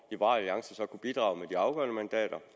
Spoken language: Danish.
liberal alliance så kunne bidrage med de afgørende mandater